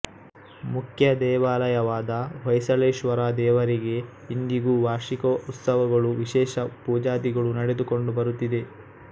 ಮುಖ್ಯ ದೇವಾಲಯವಾದ ಹೊಯ್ಸಳೇಶ್ವರ ದೇವರಿಗೆ ಇಂದಿಗೂ ವಾರ್ಷಿಕ ಉತ್ಸವಗಳೂ ವಿಶೇಷ ಪೂಜಾದಿಗಳು ನೆಡೆದುಕೊಂಡು ಬರುತ್ತಿದೆ